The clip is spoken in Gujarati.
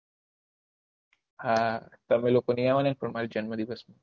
હા તમે લોકો નહિ આવો ને તો મારી જન્મ દિવસ